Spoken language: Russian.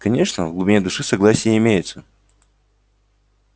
конечно в глубине души согласие имеется